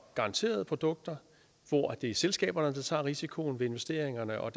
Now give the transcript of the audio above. garanterede produkter hvor det er selskaberne der tager risikoen ved investeringerne og